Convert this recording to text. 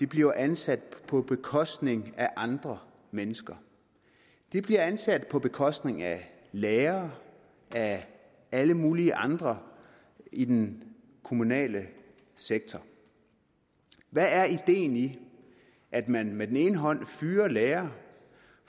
bliver ansat på bekostning af andre mennesker de bliver ansat på bekostning af lærere af alle mulige andre i den kommunale sektor hvad er ideen i at man med den ene hånd fyrer lærere